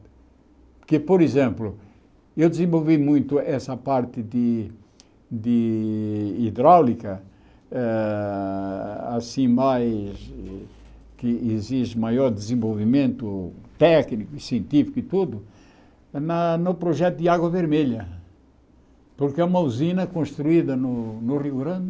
Porque, por exemplo, eu desenvolvi muito essa parte de de hidráulica ah, assim mais que exige maior desenvolvimento técnico, científico e tudo, na no projeto de Água Vermelha, porque é uma usina construída no no Rio Grande,